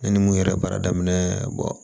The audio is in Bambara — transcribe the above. Ne ni mun yɛrɛ baara daminɛ